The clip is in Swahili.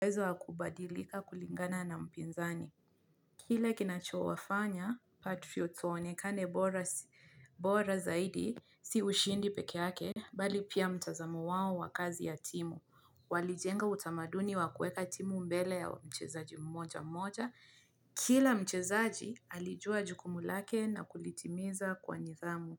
ezo wa kubadilika kulingana na mpinzani. Kile kinachowafanya patriots waonekane bora zaidi si ushindi pekeake bali pia mtazamo wao wa kazi ya timu. Walijenga utamaduni wa kuweka timu mbele ya mchezaji mmoja mmoja. Kila mchezaji alijua jukumu lake na kulitimiza kwa nidhamu,